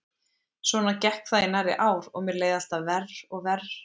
Svona gekk það í nærri ár og mér leið alltaf verr og verr.